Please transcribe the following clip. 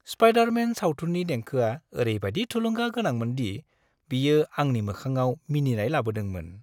Spider-Man सावथुननि देंखोआ ओरैबायदि थुलुंगा गोनांमोनदि बियो आंनि मोखांआव मिनिनाय लाबोदोंमोन।